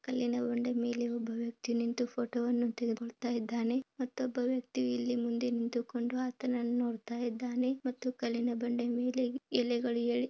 ಅಲ್ಲೇ ಬಂಡೆ ಮೇಲೆ ಒಬ್ಬ ವ್ಯಕ್ತಿ ಫೋಟೋ ತೆಗೆದುಕೊಳ್ಳುತ್ತಿದ್ದಾನೆ ಮತ್ತೊಬ್ಬ ವ್ಯಕ್ತಿ ಅವನನ್ನು ನೋಡುತ್ತಿದ್ದಾನೆ. ಮತ್ತು ಕಲ್ಲಿನ ಬಂಡೆಯ ಮೇಲೆ ಎಲೆಗಳು--